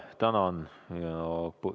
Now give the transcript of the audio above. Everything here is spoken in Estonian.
Tänan!